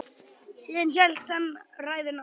Síðan hélt hann ræðunni áfram